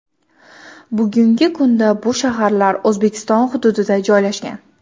Bugungi kunda bu shaharlar O‘zbekiston hududida joylashgan.